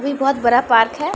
ये बहुत बड़ा पार्क है।